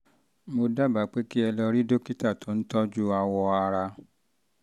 mo dábàá pé kí ẹ lọ rí dókítà tó ń dókítà tó ń tọ́jú awọ ara